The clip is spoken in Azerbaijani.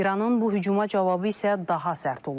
İranın bu hücuma cavabı isə daha sərt olub.